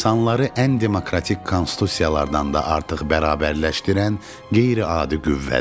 İnsanları ən demokratik konstitusiyalardan da artıq bərabərləşdirən qeyri-adi qüvvədir.